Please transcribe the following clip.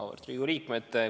Auväärt Riigikogu liikmed!